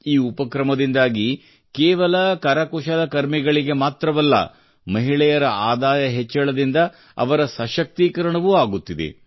ಈ ಉಪಕ್ರಮದಿಂದಾಗಿ ಕೇವಲ ಕರಕುಶಲಕರ್ಮಿಗಳಿಗೆ ಮಾತ್ರವಲ್ಲ ಮಹಿಳೆಯರ ಆದಾಯ ಹೆಚ್ಚಳದಿಂದ ಅವರ ಸಶಕ್ತೀಕರಣವೂ ಆಗುತ್ತಿದೆ